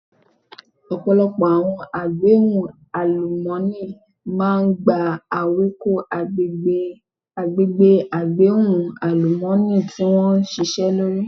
Ọ̀pọ̀lọpọ̀ àwọn agbẹ́hò àlùmọ́nì máa ń ba ewéko agbègbè agbẹ́hò àlùmọ́ọ́nì tí wón ṣisẹ́ lórí.